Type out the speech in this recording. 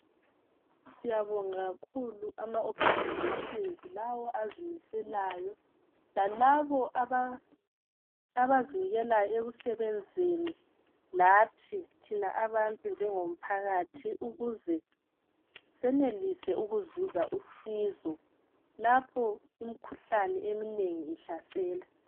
Siyabonga kakhulu ama organisations lawo azimiselayo lalabo abazinikelayo ekusebenzeni lathi thina abantu njengomphakathi ukuze senelise ukuzuza usizo lapho imkhuhlane eminengi ihlasela.